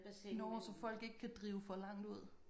Nåh så folk ikke kan drive for langt ud